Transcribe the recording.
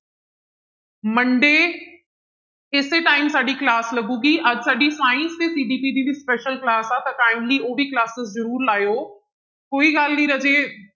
Monday ਇਸੇ time ਸਾਡੀ class ਲੱਗੇਗੀ ਅੱਜ ਸਾਡੀ science ਤੇ CDP ਦੀ ਵੀ special class ਆ ਤਾਂ kindly ਉਹ ਵੀ classes ਜ਼ਰੂਰ ਲਾਇਓ, ਕੋਈ ਗੱਲ ਨੀ ਰਾਜੇ